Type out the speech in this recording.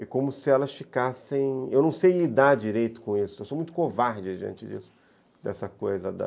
É como se elas ficassem... Eu não sei lidar direito com isso, eu sou muito covarde diante disso, dessa coisa da...